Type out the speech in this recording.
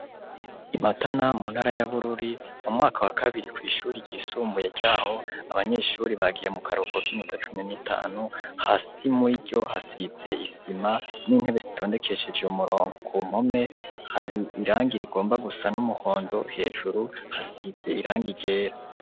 IMatana muntara ya Bururi, mumwaka wa kabiri mw'ishuri ryisumbuye ryaho, abanyeshuri bagiye mukaruhuko k'iminota cumi n'itanu hasi muriryo hasize isima n'intebe zitondekeshej'umurongo , ku mpome har'irangi rigomba gusa n'umuhondo hejuru hasiz'irangi ryera.